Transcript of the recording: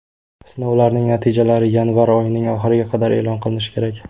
Sinovlarning natijalari yanvar oyining oxiriga qadar e’lon qilinishi kerak.